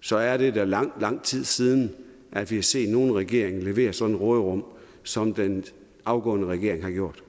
så er det da lang lang tid siden at vi har set nogen regering levere sådan et råderum som den afgåede regering har gjort